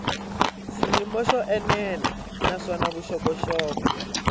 xiyimo xo enela naswona vuxokoxoko